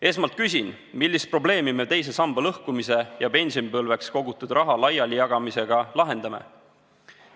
Esmalt küsin, millist probleemi me teise samba lõhkumise ja pensionipõlveks kogutud raha laialijagamisega lahendame.